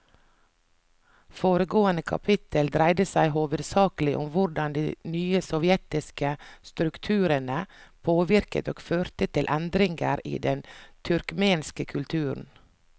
Foregående kapittel dreide seg hovedsakelig om hvordan de nye sovjetiske strukturene påvirket og førte til endringer i den turkmenske kulturen.